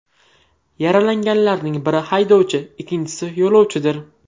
Yaralanganlarning biri haydovchi, ikkinchisi yo‘lovchidir.